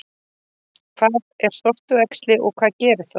Hvað er sortuæxli og hvað gerir það?